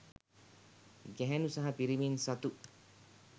ගැහැණු සහ පිරිමින් සතු